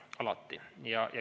Alati.